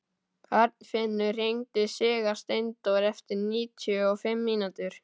Arnfinnur, hringdu í Sigursteindór eftir níutíu og fimm mínútur.